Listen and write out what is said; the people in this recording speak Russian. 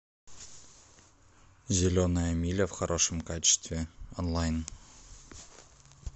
зеленая миля в хорошем качестве онлайн